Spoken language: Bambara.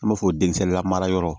An b'a fɔ denmisɛnnin lamara yɔrɔ